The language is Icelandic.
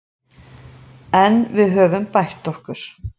En við höfum bætt okkur